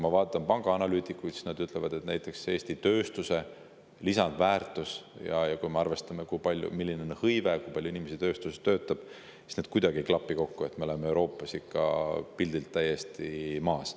Pangaanalüütikud ütlevad, et näiteks Eesti tööstuse lisandväärtus ja see, milline on hõive, kui palju inimesi tööstuses töötab, ei klapi kuidagi kokku, me oleme Euroopas ikka pildilt täiesti maas.